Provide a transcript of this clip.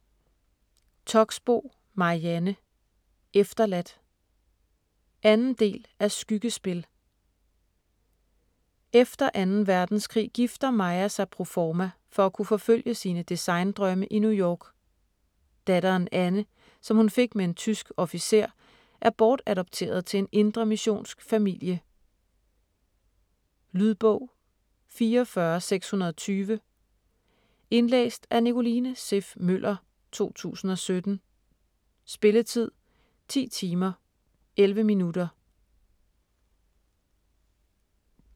Toxboe, Marianne: Efterladt 2. del af Skyggespil. Efter 2. verdenskrig gifter Maja sig proforma for at kunne forfølge sine design-drømme i New York. Datteren Anne, som hun fik med en tysk officer, er bortadopteret til en indremissionsk familie. Lydbog 44620 Indlæst af Nicoline Siff Møller, 2017. Spilletid: 10 timer, 11 minutter.